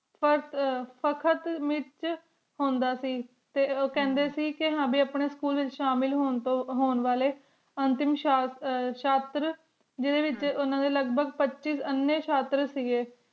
ਮਿਥ ਚ ਹੁਣ ਦਾ ਸੇ ਟੀ ਓਖੰਡੀ ਸੇ ਹਮ੍ਯਨ ਆਪਣਾ ਸਕੂਲ ਤੂੰ ਸ਼ਾਮਿਲ ਹੁਣ ਵਾਲੀ ਅੰਤਮ ਸ਼ਾਨ ਸ਼ਟਰ ਜਿਡੀ ਵੇਚ ਉਨਾ ਦਾ ਲਘ ਭਗਹ ਪਚੀਸ ਆਨੀ ਸ਼ਟਰ ਸੇ